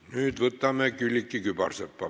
Nüüd võtame Külliki Kübarsepa küsimuse.